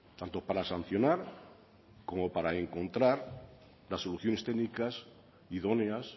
tanto para sancionar como para encontrar las soluciones técnicas idóneas